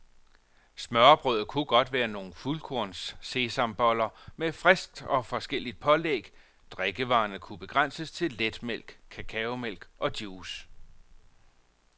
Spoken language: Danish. Smørrebrødet kunne være nogle fuldkornssesamboller med friskt og forskelligt pålæg, drikkevarene kunne begrænses til letmælk, cacaomælk og juice.